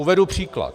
Uvedu příklad.